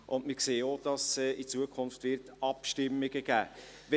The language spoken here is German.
Wir sehen auch, dass es in Zukunft Abstimmungen geben wird.